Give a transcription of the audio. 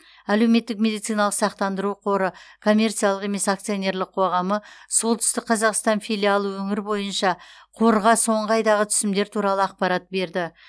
әлеуметтік медициналық сақтандыру қоры коммерциялық емес акционерлік қоғамы солтүстік қазақстан филиалы өңір бойынша қорға соңғы айдағы түсімдер туралы ақпарат берді